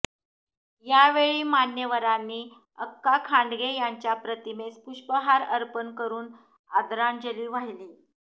यावेळी मान्यवरांनी अक्का खांडगे यांच्या प्रतिमेस पुष्पहार अर्पण करून आदरांजली वाहिली